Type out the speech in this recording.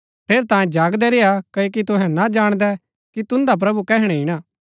ठेरैतांये जागदै रेय्आ क्ओकि तुहै ना जाणदै कि तुन्दा प्रभु कैहणै ईणा